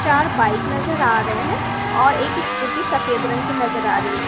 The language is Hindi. चार बाइक नजर आ रहे हैं और एक स्कूटी सफेद रंग की नजर आ रही है एक--